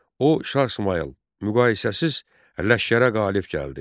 O Şah İsmayıl müqayisəsiz ləşkərə qalib gəldi.